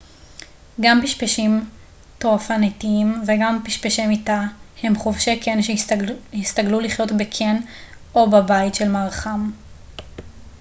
גם פשפשים טורפניתיים וגם פשפשי מיטה הם חובשי קן שהסתגלו לחיות בקן או בבית של מארחם